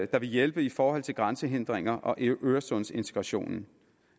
der vil hjælpe i forhold til grænsehindringer og øresundsintegrationen